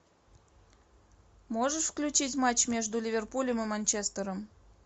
можешь включить матч между ливерпулем и манчестером